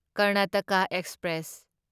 Karnataka express